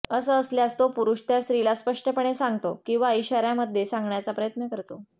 असं असल्यास तो पुरूष त्या स्त्रीला स्पष्टपणे सांगतो किंवा इशाऱ्यांमध्ये सांगण्याचा प्रयत्न करतो